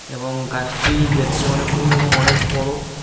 এবং গাছটি দেখতে অনেক পুরানো এবং অনেক বড়ো।